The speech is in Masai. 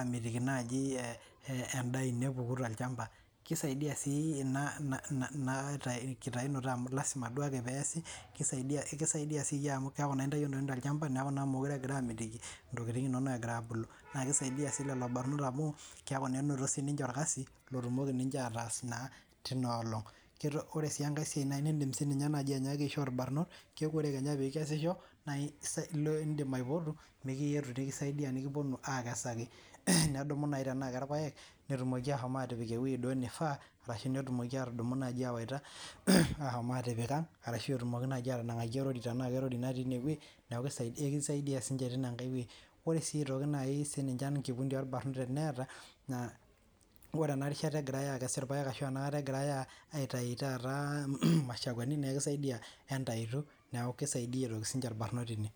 amitiki endaa eno epuku tolchamba kisaidia sii ena kitayinoto amu keeku entayio entokitin tolchamba neeku meekure egira amitiki ntokitin enono ebulu naa kisaidia sininje lelo barnot amu keeku enotito sininje orkasi loas teina olong ore sii enkae nidim aishoo irbarnot keek ore Kenya pee ekesisho naa edim apoto nikipuo aisaidia nedumu naaji tenaa Kee irpaek netumoki ashom atipik ewueji naifaa ashu nedumu awaita ashom atipik ang ashu engaki erori tenaa ninye natii enewueji neeku ekisaidia siniche oleng ore sininye enkikundi orbarnot ore enarishata egirai akees irpaek ashu ena kata egirai aitayu mashakwani naa ekisaidia ntayu neeku kisaidia sininje irbarnot teine